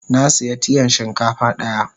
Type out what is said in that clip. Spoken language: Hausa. Na siya tiyan shinkafa daya.